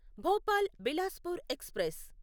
Bhopal Bilaspur express